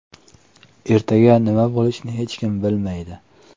Ertaga nima bo‘lishini hech kim bilmaydi.